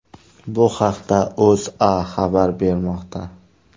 Bu haqda O‘zA xabar bermoqda .